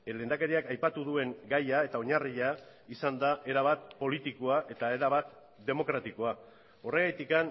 lehendakariak aipatu duen gaia eta oinarria izan da erabat politikoa eta erabat demokratikoa horregatik